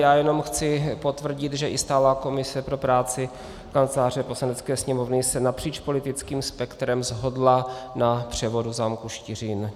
Já jenom chci potvrdit, že i stálá komise pro práci Kanceláře Poslanecké sněmovny se napříč politickým spektrem shodla na převodu zámku Štiřín.